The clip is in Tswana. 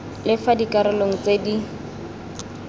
le fa dikarolo tse di